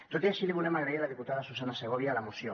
tot i així li volem agrair a la diputada susanna segovia la moció